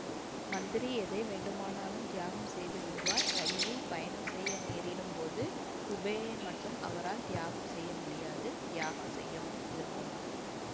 மந்திரி எதை வேண்டுமானாலும் தியாகம் செய்து விடுவார் இரயிலில் பயணம் செய்ய நேரிடும் போது கூபே மட்டும் அவரால் தியாகம் செய்ய முடியாது தியாகம் செய்ய விரும்பவும் மாட்டார்